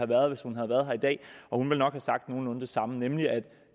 været hvis hun har været her i dag og hun ville nok sagt nogenlunde det samme nemlig at